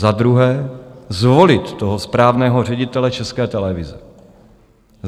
Za druhé, zvolit toho správného ředitele České televize.